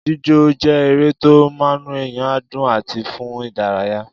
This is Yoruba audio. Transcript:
Jíjó je ere to munueyan du àti fun idaraya